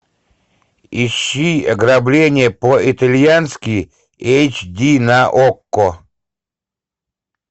ищи ограбление по итальянски эйч ди на окко